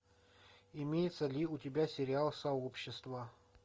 имеется ли у тебя сериал сообщество